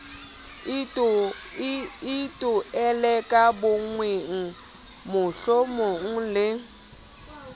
itoile ka bowena mohlomong le